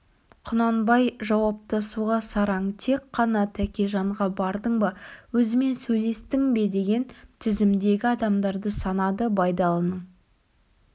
құнанбай жауаптасуға сараң тек қана тәкежанға бардың ба өзімен сөйлестің бе деген тізімдегі адамдарды санады байдалының